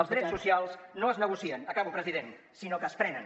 els drets socials no es negocien acabo president sinó que es prenen